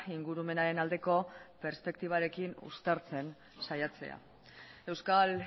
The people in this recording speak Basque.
ingurumenaren aldeko perspektibarekin uztartzen saiatzea euskal